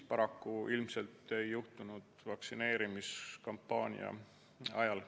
Paraku see ilmselt ei õnnestunud vaktsineerimiskampaania ajal.